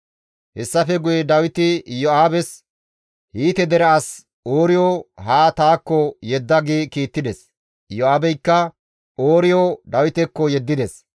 Hessafe guye Dawiti Iyo7aabes, «Hiite dere as Ooriyo haa taakko yedda» gi kiittides; Iyo7aabeykka Ooriyo Dawitekko yeddides.